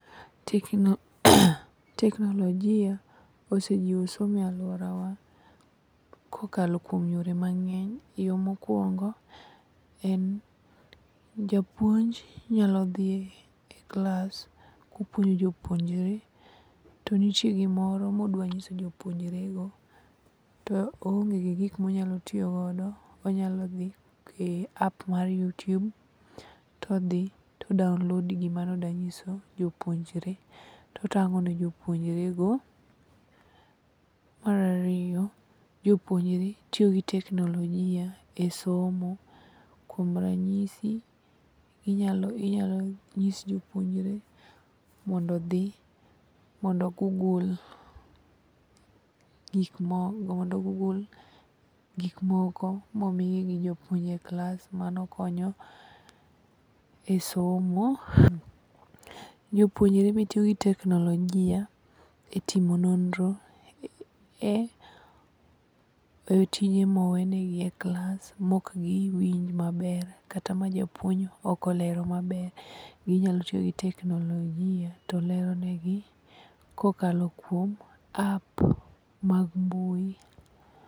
Teknolojia osejiwo somo e alworawa kokalo kuom yore mang'eny. Yo mokwongo en, japuonj nyalo dhi e klas kopuonjo jopuonjre to nitie gimoro modwa ng'iso jopuonjre go to oonge gi gik monyalo tiyogodo, onyalo dhi e app mar youtube to odhi to o download gima nodanyiso jopuonjre totang'o ne jopuonjrego. Mar ariyo, jopuonjre tiyo gi teknolojia e somo kuom ranyisi, inyalo nyis jopuonjre mondo odhi mondo o google gikmoko momigi gi japuonj e klas mano konyo e somo. Jopuonjre be tiyo gi teknolojia e timo nonro e tije mowenegi e klas mokgiwinj maber kata ma japuonj ok olero maber ginyalo tiyo gi teknolojia to leronegi kokalo kuom app mag mbui.